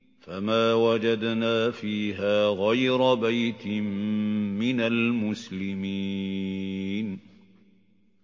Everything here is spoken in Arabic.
فَمَا وَجَدْنَا فِيهَا غَيْرَ بَيْتٍ مِّنَ الْمُسْلِمِينَ